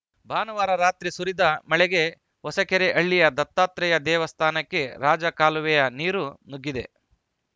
ಭಾನುವಾರ ರಾತ್ರಿ ಸುರಿದ ಮಳೆಗೆ ಹೊಸಕೆರೆಹಳ್ಳಿಯ ದತ್ತಾತ್ರೇಯ ದೇವಸ್ಥಾನಕ್ಕೆ ರಾಜಕಾಲುವೆಯ ನೀರು ನುಗ್ಗಿದೆ